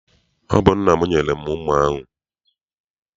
Ọ bụ nna m nyere m mma ahụ.